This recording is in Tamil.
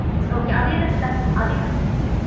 okay அது என்ன plan?